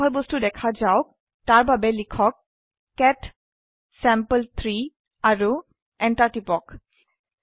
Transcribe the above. ইয়াৰ বিষয়বস্তু দেখা যাওক তাৰ বাবে লিখক কেট চেম্পল3 আৰু এন্টাৰ টিপক